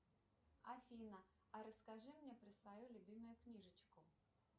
афина а расскажи мне про свою любимую книжечку